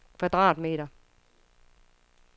kvadratmeter